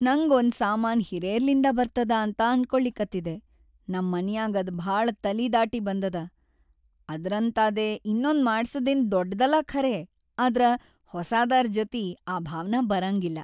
ನಂಗ್‌ ಒಂದ್‌ ಸಾಮಾನ್‌ ಹಿರೇರ್ಲಿಂದ ಬರ್ತದ ಅಂತ ಅನ್ಕೊಳಿಕತ್ತಿದೆ, ನಂ ಮನ್ಯಾಗ್‌ ಅದ್‌ ಭಾಳ ತಲಿ ದಾಟಿ ಬಂದದ. ಅದ್ರಂತಾದೇ ಇನ್ನೊಂದ್‌ ಮಾಡ್ಸದೇನ್‌ ದೊಡ್ದಲ್ಲಾ ಖರೇ ಆದ್ರ ಹೊಸಾದರ್‌ ಜೊತಿ ಆ ಭಾವನಾ ಬರಂಗಿಲ್ಲಾ.